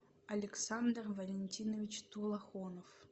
александр валентинович тулахонов